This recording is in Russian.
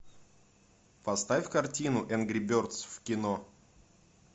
поставь картину энгри бердс в кино